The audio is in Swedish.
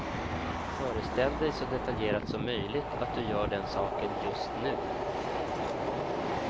Föreställ dig så detaljerat som möjligt att du gör den saken just nu.